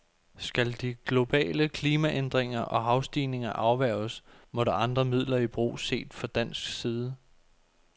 Skal de globale klimaændringer og havstigninger afværges, må der andre midler i brug, set fra dansk side.